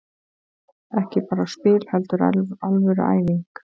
Ekki bara spil heldur alvöru æfing.